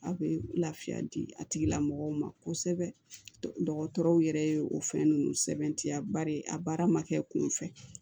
Aw bɛ lafiya di a tigilamɔgɔw ma kosɛbɛ dɔgɔtɔrɔw yɛrɛ ye o fɛn ninnu sɛbɛntiya bari a baara ma kɛ kunfɛ